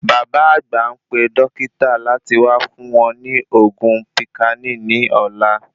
Bàbá àgbà npe dókítà láti wá fún wọn ni oògùn píkánì ní ọ̀la